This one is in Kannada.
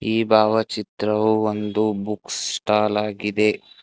ಈ ಭಾವಚಿತ್ರವು ಒಂದು ಬುಕ್ ಸ್ಟಾಲ್ ಆಗಿದೆ.